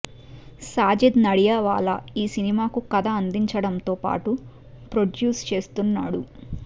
సాజిద్ నడియాడ్వాలా ఈ సినిమాకు కథ అందించడంతో పాటు ప్రొడ్యూస్ చేస్తున్నాడు